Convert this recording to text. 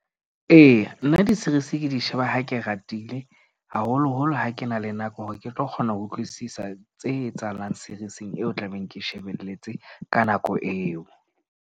Eya, nna di-series, ke di sheba ha ke ratile haholoholo ha ke na le nako hore ke tlo kgona ho utlwisisa tse etsahalang, series-ing eo o tla beng ke shebelletse ka nako eo.